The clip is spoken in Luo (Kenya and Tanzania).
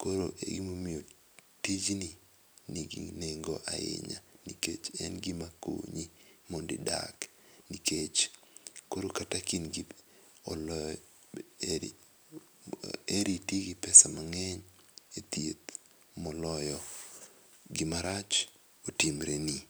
koro e gima omiyo tij ni gi nego ahinya nikech en gima konyi mondo idag nikech koro kata ka heri iti gi [c]pesa mangeny e thieth moloyo gi marach otimre ni.